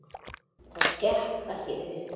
Það gekk ekki upp.